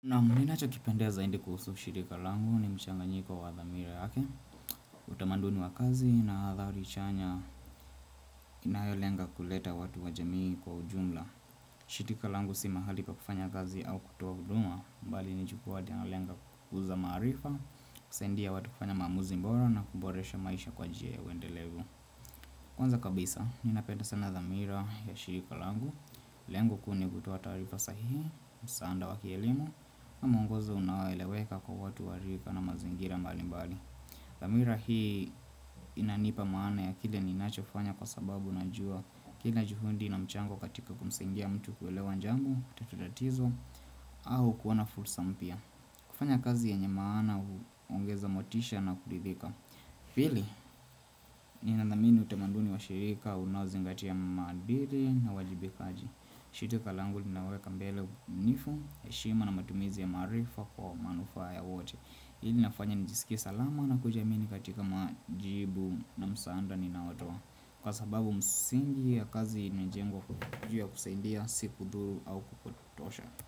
Naam ninachokipendea zaidi kuhusu shirika langu ni mchanganyiko wa dhamira yake Utamanduni wa kazi na athari chanya inayolenga kuleta watu wa jamii kwa ujumla shirika langu si mahali pakufanya kazi au kutoa kuduma. Bali ni jukwaa linalolenga kukuza maarifa kusaidia watu kufanya maamuzi bora na kuboresha maisha kwa njia ya uendelevu Kwanza kabisa, ninapenda sana dhamira ya shirika langu Lengo kuu ni kutoa taarifa sahihi, msaada wa kielimu na mwongozo unaoeleweka kwa watu wa rika na mazingira mbali mbali dhamira hii inanipa maana ya kile ninachofanya kwa sababu najua Kile juhudi na mchango katika kumsaidia mtu kuelewa jambo, kutatuaa tatizo au kuona fursa mpya kufanya kazi yenye maana huongeza motisha na kuridhika pili, nina dhamini utamanduni wa shirika, unaozingatia maadili na uwajibikaji langu linaweka mbele uwaaminifu, heshima na matumizi ya maarifa kwa manufaa ya wote Hili linafanya nijisikia salama na kujiamini katika majibu na msaada ninawatua Kwa sababu msingi ya kazi inajengwa juu ya kusaidia si kudhuru au kupotosha.